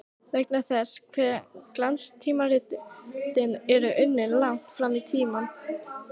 Vegna þess hve glanstímaritin eru unnin langt fram í tímann.